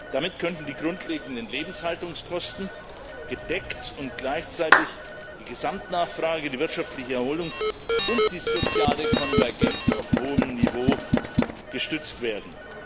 Damit könnten die grundlegenden Lebenshaltungskosten gedeckt und gleichzeitig die Gesamtnachfrage, die wirtschaftliche Erholung und die soziale Konvergenz auf hohem Niveau gestützt werden.